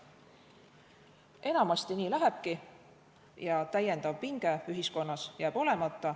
Enamasti nii lähebki ja lisapinge ühiskonnas jääb olemata.